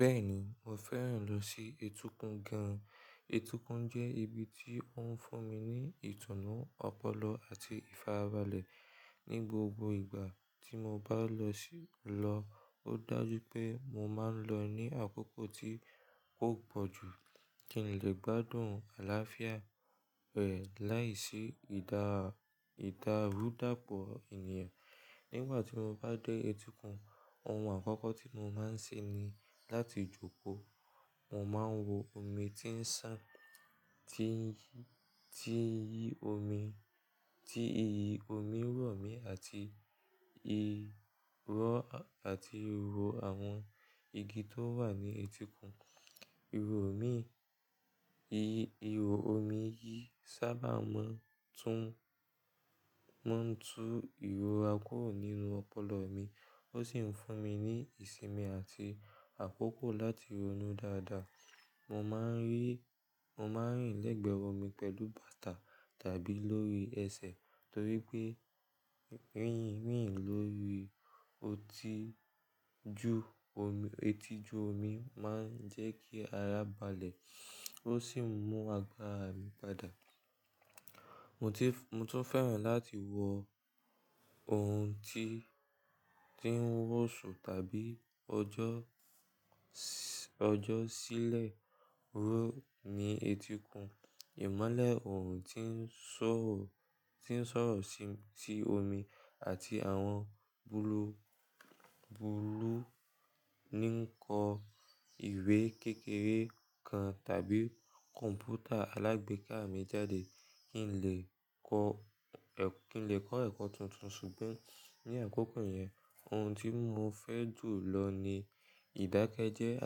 Bẹ́ẹ̀ni, mo fẹ́ràn lọ sí etíkun gan. Etíkun jẹ́ ibi tí ó ń fún mi ní ìtùnú, ọpọlọ àti ìfarabalẹ̀. Ni gbogbo ìgbà tí mo bá lọ sí lọ, ó dájú pé mo máa ń lọ ní àkókò tí kò pọ̀jù kí n lè gbádùn àlàáfíà rẹ̀ láìsí ìdárúdápọ̀ ènìyàn. Nígbà tí mo bá dé etíkun, ohun àkọ́kọ́ tí mo máa ń ṣe ni láti jókòó. Mo máa ń wo omi tí ń sàn, tí iyì omi rọ̀ mí àti ìrọ̀ àti ìwò àwọn igi tó wà ní etíkun. Ìrò omi yìí sábà máa ń tú ìró àkórò nínú ọpọlọ mi, ó sì ń fún mi ní ìsinmi àti àkókò láti ronú dáadáa. Mo máa ń rìn lẹ́gbẹ̀ẹ́ omi pẹ̀lú bàtà tàbí lórí ẹsẹ̀ torí pé rìn lórí etí ju omi máa ń jẹ́ kí ara balẹ̀ ó sì mú agbára mi padà. Mo tún fẹ́ràn láti wọ ohun tí ń wòṣù tàbí ọjọ́ṣílẹ̀ wò ní etíkun. Ìmọ́lẹ̀ orun tí ń ṣọ́rọ̀ sí omi àti àwọn búúlù ní nkọ ìwé kékeré kan tàbí kọ̀m̀pútà alágbèéká mi jáde kí n lè kọ́ ẹ̀kọ́ tuntun. Ṣùgbọ́n ní àkókò yẹn ohun tí mo fẹ́ jù lọ ni ìdákẹ́jẹ́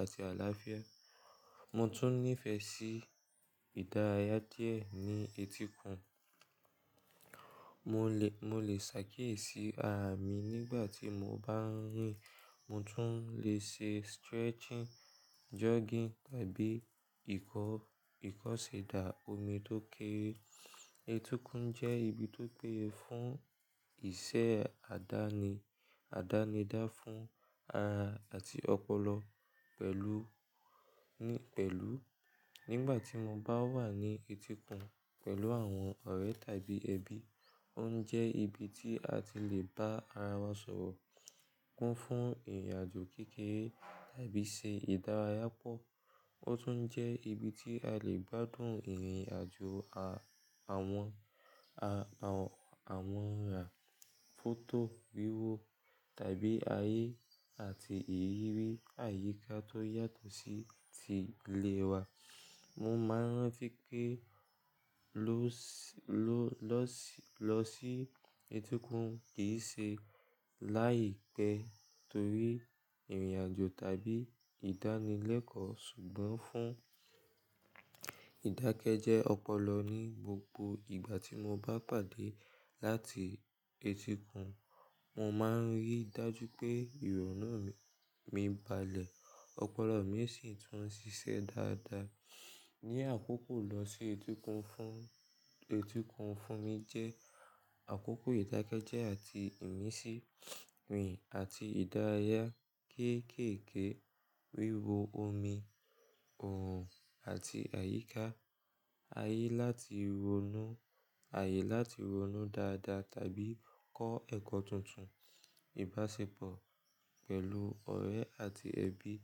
àti àlàáfíà. Mo tún nífẹ̀ẹ́ sí ìdárayá díẹ̀ ní etíkun. Mo lè ṣàkíyèsí ara mi nígbà tí mo bá ń rìn. Mo tún lè ṣe stretching, jogging tàbí ìkọ̀sẹ̀dá omi tó kere. Etíkun jẹ́ ibi tó péye fún iṣẹ́ àdánidá fún ara àti ọpọlọ pẹ̀lú. Nígbà tí mo bá wà ní etíkun pẹ̀lú àwọn ọ̀rẹ́ tàbí ẹbí, ó ń jẹ́ ibi tí a ti lè bá ara wa ṣòro, kún fún ìrìnàjò kékeré tàbí ṣe ìdárayá pọ̀. Ó tún jẹ́ ibi tí a lè gbádùn ìrìnàjò àwọn ọ̀ràn, fọ́tò, wíwò tàbí ayé àti ìrírí àyíká tó yàtọ̀ sí ti ilé wa. Mo máa ń ranti pẹ́ kí ló lọ sí etíkun kì í ṣe láì pẹ́ torí ìrìnàjò tàbí ìdánilẹ́kọ̀ọ́ ṣùgbọ́n fún ìdákẹ́jẹ́ ọpọlọ ní gbogbo ìgbà tí mo bá pàdé láti etíkun. Mo máa ń rí dájú pé ìrònú mi balẹ̀, ọpọlọ mi sì tún ṣiṣẹ́ dáadáa. Ni àkókò lọ sí etíkun fún mi jẹ́ àkókò ìdákẹ́jẹ́ àti ìmísí, rìn àti ìdárayá kéékèèké, wíwo omi, oòrùn àti àyíká, ayé láti ronú dáadáa tàbí kọ́ ẹ̀kọ́ tuntun, ìbáṣepọ̀ pẹ̀lú ọ̀rẹ́ àti ẹbí.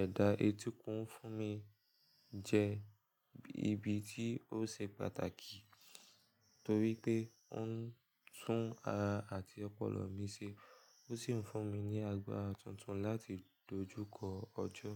Ẹ̀dà etíkun fún mi jẹ́ ibi tí ó ṣe pàtàkì torí pé ó ń tún ara àti ọpọlọ mi ṣe, ó sì ń fún mi ní agbára tuntun láti dojúkọ ọjọ́.